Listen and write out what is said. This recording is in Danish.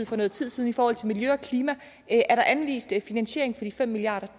for noget tid siden i forhold til miljø og klima er der anvist finansiering for de fem milliard